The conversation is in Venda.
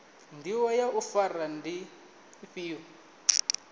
ndivho ya u fara ndi ifhio